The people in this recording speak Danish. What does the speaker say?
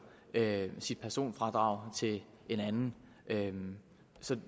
sit personfradrag til en anden anden så